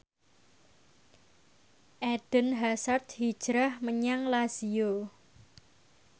Eden Hazard hijrah menyang Lazio